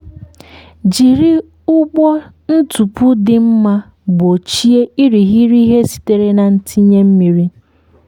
jiri ụgbụ ntupu dị mma gbochie irighiri ihe sitere na ntinye mmiri.